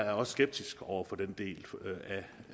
er skeptisk over for den del